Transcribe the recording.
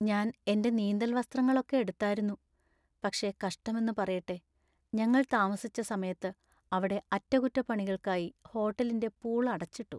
ഞാൻ എന്‍റെ നീന്തൽ വസ്ത്രങ്ങളൊക്കെ എടുത്താരുന്നു, പക്ഷേ കഷ്ടം എന്നു പറയട്ടെ ഞങ്ങൾ താമസിച്ച സമയത്ത് അവിടെ അറ്റകുറ്റപ്പണികൾക്കായി ഹോട്ടലിന്‍റെ പൂൾ അടച്ചിട്ടു.